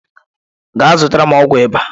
Gaa zụtara m ọgwụ ịba.